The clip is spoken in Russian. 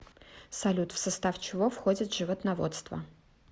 салют в состав чего входит животноводство